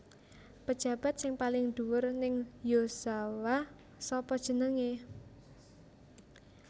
Pejabat sing paling dhuwur ning Yozawa sapa jenenge